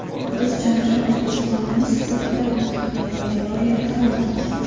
Biz jonajon O‘zbekistonimiz sportida mustahkam poydevor yarata oldik.